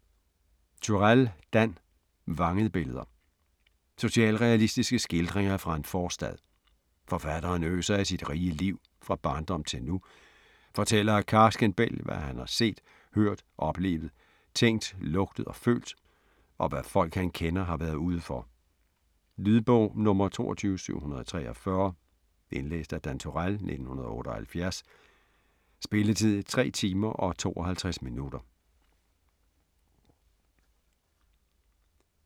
Turèll, Dan: Vangede billeder Socialrealistiske skildringer fra en forstad. Forfatteren øser af sit rige liv, fra barndom til nu, fortæller af karsken bælg hvad han har set, hørt, oplevet, tænkt, lugtet og følt, og hvad folk han kender har været ude for. Lydbog 22743 Indlæst af Dan Turèll, 1978. Spilletid: 3 timer, 52 minutter.